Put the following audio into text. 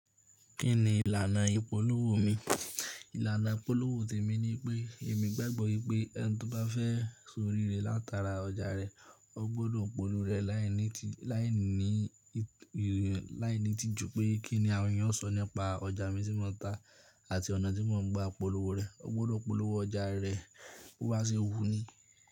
Kí ni ìlànà ìpolówó mi? Ìlànà ìpolówó tèmi ni pé èmi gbàgbọ́ wipé ẹni tó bá fẹ́ orí rẹ̀ látara ọjà rẹ̀, o gbọ́dọ̀ polówó rẹ̀ láìní tí, láìní, láìní tí ju pé kí ni àwọn èèyàn ó sọ nípa ọjà mi tí mo ń ta àti ọ̀nà tí mo ń gba ìpolówó rẹ̀. O gbọ́dọ̀ polówó ọjà rẹ bo ba se wú ni.